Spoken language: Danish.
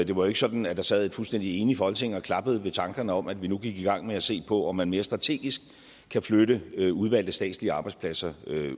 det var ikke sådan at der sad et fuldstændig enigt folketing og klappede ved tanken om at vi nu gik i gang med at se på om man mere strategisk kan flytte udvalgte statslige arbejdspladser